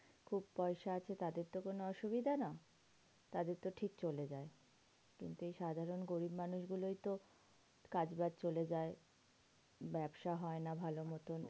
খুব পয়সা আছে তাদের তো কোনো অসুবিধা না। তাদেরতো ঠিক চলে যায়। কিন্তু এই সাধারণ গরিব মানুষ গুলোই তো কাজ বাজ চলে যায়। ব্যবসা হয় না ভালো মতো।